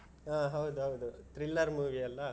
ಹ ಹೌದೌದು thriller movie ಅಲ್ಲಾ.